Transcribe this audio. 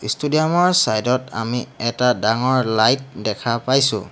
Stadium ৰ চাইদ ত আমি এটা ডাঙৰ লাইট দেখা পাইছোঁ।